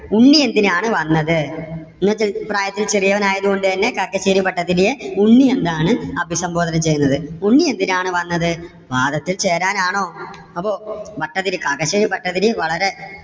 ഉണ്ണി എന്തിനാണ് വന്നത്? ഈ പ്രായത്തിൽ ചെറിയവൻ ആയതുകൊണ്ട് തന്നെ കാക്കശ്ശേരി ഭട്ടതിരിയെ ഉണ്ണി എന്നാണ് അഭിസംബോധന ചെയ്തത്. ഉണ്ണി എന്തിനാണ് വന്നത്? വാദത്തിൽ ചേരാൻ ആണോ? അപ്പോ ഭട്ടതിരി കാക്കശ്ശേരി ഭട്ടതിരി വളരെ